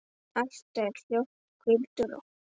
Allt er hljótt, hvíldu rótt.